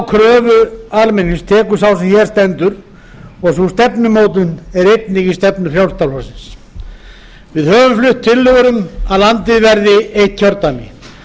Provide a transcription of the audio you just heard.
kröfu almennings tekur sá sem hér stendur og sú stefnumótun er einnig í stefnu frjálslynda flokksins við höfum flutt tillögur um að landið verði eitt kjördæmi